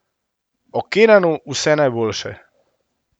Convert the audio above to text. O Kenanu vse najboljše.